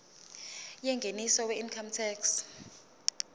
yengeniso weincome tax